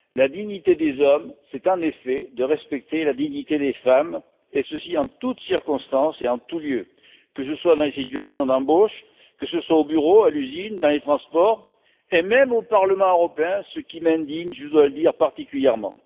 La dignité des hommes, c'est en effet de respecter la dignité des femmes, et ceci en toute circonstance et en tout lieu, que ce soit dans les situations d'embauche, au bureau, à l'usine, dans les transports, et même au Parlement européen, ce qui m'indigne, je dois le dire, tout particulièrement.